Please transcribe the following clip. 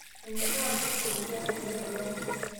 Menyora nkuus oldia tenelurai